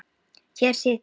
Hér sit ég.